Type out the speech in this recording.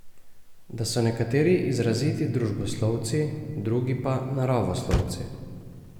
Da so nekateri izraziti družboslovci, drugi pa naravoslovci.